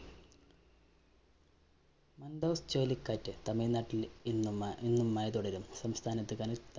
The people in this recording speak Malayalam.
മാന്‍ഡോസ് ചുഴലിക്കാറ്റ് തമിഴ്നാട്ടില്‍ ഇന്നും ഇന്നും മഴ തുടരും. സംസ്ഥാനത്ത് കനത്ത